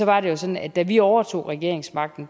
var det jo sådan at da vi overtog regeringsmagten